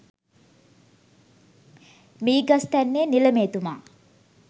මීගස්තැන්නේ නිලමේතුමා